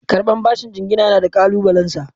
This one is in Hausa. Karɓar bashin jingina yana da ƙalubalensa.